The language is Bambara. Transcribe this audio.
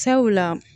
Sabula